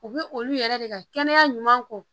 U bɛ olu yɛrɛ de ka kɛnɛya ɲuman kɔ